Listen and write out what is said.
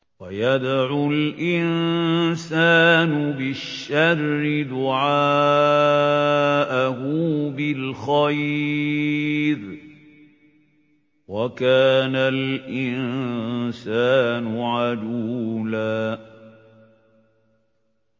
وَيَدْعُ الْإِنسَانُ بِالشَّرِّ دُعَاءَهُ بِالْخَيْرِ ۖ وَكَانَ الْإِنسَانُ عَجُولًا